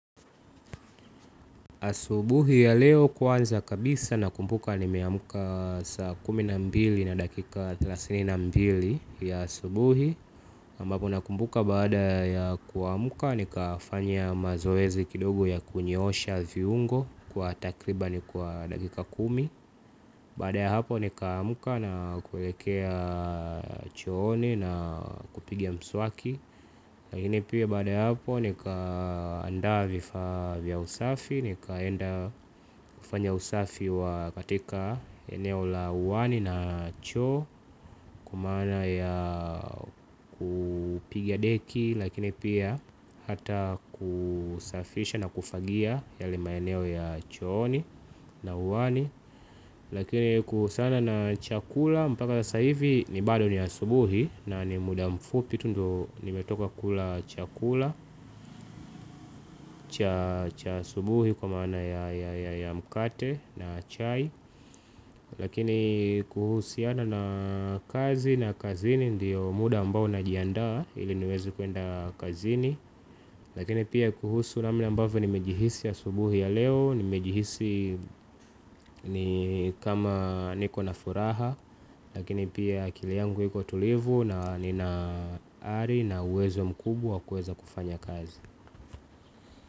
Asubuhi ya leo kwanza kabisa nakumbuka nimeamka saa kumi na mbili na dakika thelathini na mbili ya asubuhi ambapo na kumbuka baada ya kuamka ni kafanya mazoezi kidogo ya kunyoosha viungo kwa takribani kwa dakika kumi. Baada ya hapo nikaamka na kulekea chooni na kupiga mswaki. Lakini pia baada ya hapo nika andaa vifaa vya usafi. Nikaenda kufanya usafi wa katika eneo la uani na choo. Kwa maana ya kupiga deki lakini pia hata kusafisha na kufagia yale maeneo ya chooni na uani lakini kuhusiana na chakula mpaka sasa hivi ni bado ni asubuhi. Na ni muda mfupi tu ndio nimetoka kula chakula cha asubuhi kwa maana ya mkate na chai. Lakini kuhusiana na kazi na kazini ndiyo muda ambao na jiandaa ili niwezi kuenda kazini. Lakini pia kuhusu namna ambavyo ni mejihisi asubuhi ya leo. Nimejihisi ni kama niko na furaha. Lakini pia akili yangu iko tulivu na nina ari. Na uwezo mkubwa wakueza kufanya kazi.